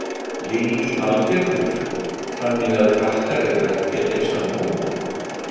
Lillý Valgerður: Þannig að krakkar eru ekki að lesa nóg?